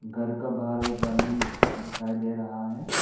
घर का बाहर एक आदमी दिखाई दे रहा है।